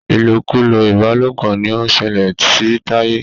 ilokulo ìbálòpọ̀ ní o ṣẹlẹ sí Taye.